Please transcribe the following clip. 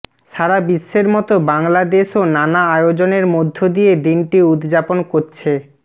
সারাবিশ্বের মতো বাংলাদেশও নানা আয়োজনের মধ্য দিয়ে দিনটি উদযাপন করছে